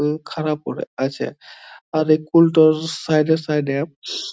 উ খারা পরে আছে | আর এই কূল টার সাইডে সাইডে --